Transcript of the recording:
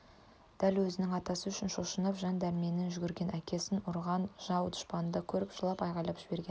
ол өзінің атасы үшін шошынып жан дәрменмен жүгіргенді әкесін ұрған жау-дұшпанды да көріп жылап айғайлап жіберген